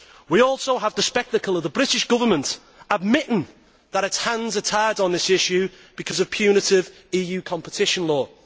We also have the spectacle of the British Government admitting that its hands are tied on this issue because of punitive EU competition law.